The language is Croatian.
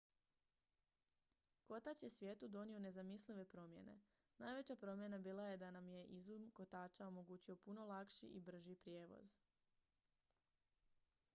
kotač je svijetu donio nezamislive promjene najveća promjena bila je da nam je izum kotača omogućio puno lakši i brži prijevoz